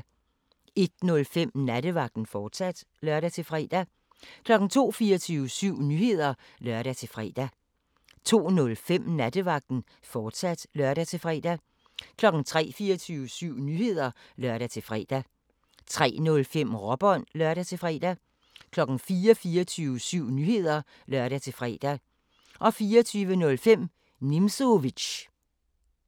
01:05: Nattevagten, fortsat (lør-fre) 02:00: 24syv Nyheder (lør-fre) 02:05: Nattevagten, fortsat (lør-fre) 03:00: 24syv Nyheder (lør-fre) 03:05: Råbånd (lør-fre) 04:00: 24syv Nyheder (lør-fre) 04:05: Nimzowitsch